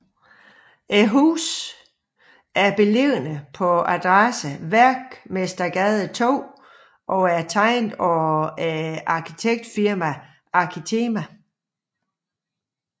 Højhuset er beliggende på adressen Værkmestergade 2 og er tegnet af arkitektfirmaet Arkitema